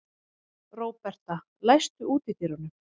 Róberta, læstu útidyrunum.